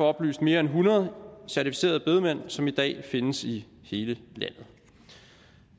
oplyst mere end hundrede certificerede bedemænd som i dag findes i hele landet